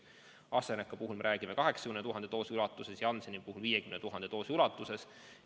AstraZeneca puhul me räägime 80 000 doosist, Jansseni puhul 50 000 doosist.